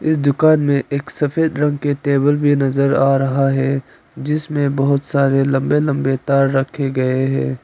इस दुकान में एक सफेद रंग के टेबल भी नजर आ रहा है जिसमें बहौत सारे लंबे लंबे तार रखे गए हैं।